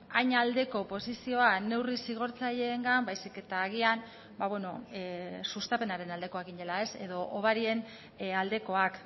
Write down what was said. hain aldeko posizioa neurri zigortzaileengan baizik eta agian ba beno sustapenaren aldekoak ginela edo hobarien aldekoak